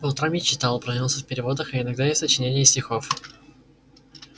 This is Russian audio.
по утрам я читал упражнялся в переводах а иногда и в сочинении стихов